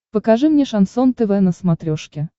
покажи мне шансон тв на смотрешке